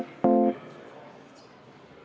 Ma tänan, härra istungi juhataja!